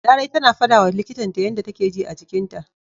Larai tana fadawa likitan ta yanda take ji a jikinta.